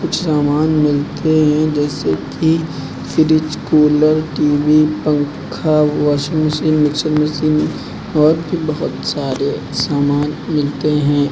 कुछ सामान मिलते हैं जैसे कि फ्रिज कूलर टी_वी पंखा वाशिंग मशीन मिक्सर मशीन और भी बहुत सारे सामान मिलते हैं।